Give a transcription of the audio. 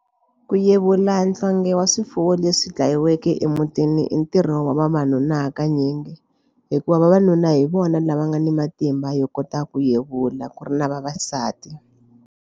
Ku yevula nhlonghe wa swifuwo leswi dlayiweke emutini i ntirho wa vavanuna hakanyingi hikuva vavanuna hi vona lava nga ni matimba yo kota ku yevula ku ri na vavasati.